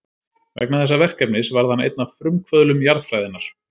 Vegna þessa verkefnis varð hann einn af frumkvöðlum jarðfræðinnar.